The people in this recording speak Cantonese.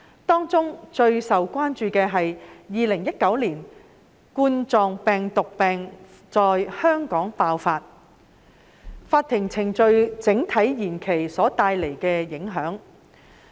當中最受關注的是2019冠狀病毒病在香港爆發，令法庭程序整體延期所帶來的影響。